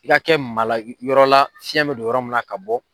I ka kɛ malayɔrɔ la fiɲɛ me don yɔrɔ min na ka bɔ